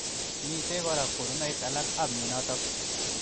Mitei kora konunoik alak ab mnyenotok.